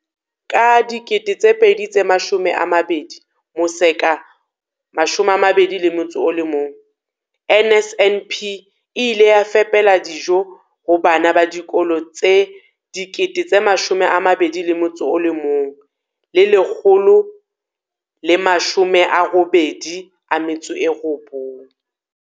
Ka 2020-21, NSNP e ile ya fepela dijo ho bana ba dikolo tse 21 189.